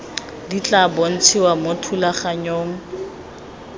di tla bontshiwa mo thulaganyong